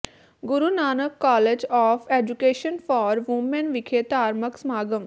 Guru Nanak college of education for women ਵਿਖੇ ਧਾਰਮਿਕ ਸਮਾਗਮ